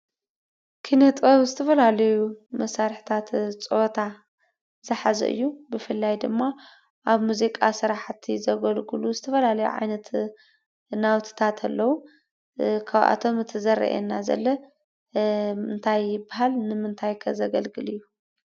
ኪነ-ጥበብ ዝተፈላለዩ መሳርሕታት ፀወታ ዝሓዘ እዩ። ብፍላይ ድማ ኣብ ሙዚቃ ስራሕቲ ዘገልግሉ ዝተፈላለዩ ዓይነት ናውቲታት ኣለው። ካብኣቶም እቲ ዝረአየና ዘሎ እንታይ ይባሃል? ንምንታይ ከ ዘገልግል እዩ?